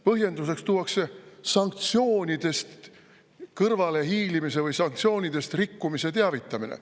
Põhjenduseks tuuakse sanktsioonidest kõrvalehiilimise või sanktsioonidest rikkumise teavitamine.